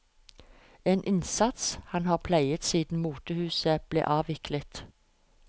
En innsats han har pleiet siden motehuset ble avviklet.